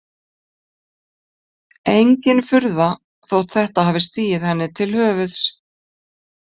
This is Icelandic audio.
Engin furða þótt þetta hafi stigið henni til höfuðs.